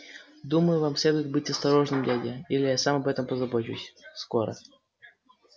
думаю вам следует быть осторожным дядя или я сам об этом позабочусь скоро